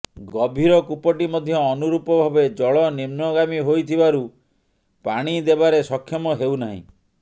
ଗଭୀର କୂପଟି ମଧ୍ୟ ଅନୁରୁପ ଭାବେ ଜଳ ନିମ୍ନଗାମୀ ହୋଇଥିବାରୁ ପାଣି ଦେବାରେ ସକ୍ଷମ ହେଉନାହିଁ